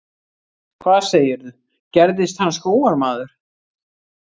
Hvað segirðu, gerðist hann skógarmaður?